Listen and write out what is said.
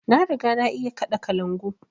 Na riga na iya kaɗa kalangu